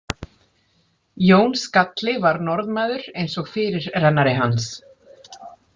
Jón skalli var Norðmaður eins og fyrirrennari hans.